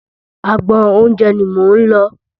Agbọn oúnjẹ ni mò ń lọ.